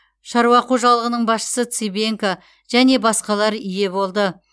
шаруа қожалығының басшысы цыбенко және басқалар ие болды